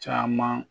Caman